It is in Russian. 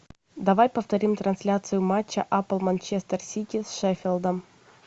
давай повторим трансляцию матча апл манчестер сити с шеффилдом